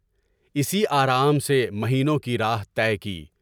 اسی آرام سے مہینوں کی راہ طے کی۔